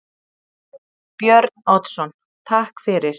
Björn Oddsson: Takk fyrir.